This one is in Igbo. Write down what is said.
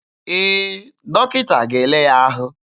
Ee, dọkịta ga-ele ya ahụ.